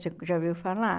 Você já ouviu falar?